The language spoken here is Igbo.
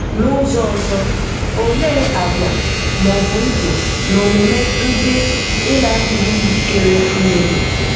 Na ụzọ ọzọ, Olee àgwà, ma ọ bụ ndụ na omume ndị ị na-adịghị njikere imebi.